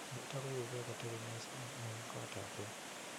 nitok koibu beek kotebi kissing eng koot ap beek.